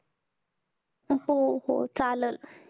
हो हो चाललं.